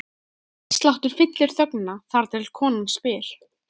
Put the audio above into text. Hjartsláttur fyllir þögnina, þar til konan spyr